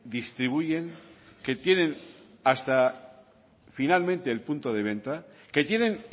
distribuyen que tienen hasta finalmente el punto de venta que tienen